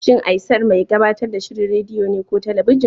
Shin Aisar mai gabatar da shirin rediyo ne ko talabijin?